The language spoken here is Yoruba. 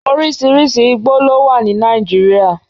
orísirísi igbó ló wà ní Nàìjíríà